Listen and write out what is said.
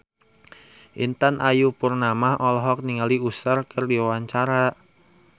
Intan Ayu Purnama olohok ningali Usher keur diwawancara